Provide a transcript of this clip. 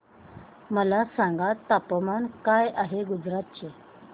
मला सांगा तापमान काय आहे गुजरात चे